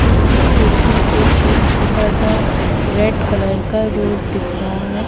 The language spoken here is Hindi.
उसकी खिड़की से एक छोटा सा रेड कलर का रोज दिख रहा है।